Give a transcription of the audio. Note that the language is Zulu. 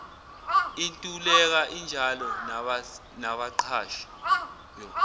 intuleka injalo nabaqashi